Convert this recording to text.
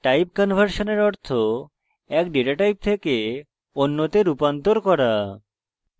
time কনভার্সনের অর্থ এক ডেটা type থেকে অন্যতে রূপান্তর করা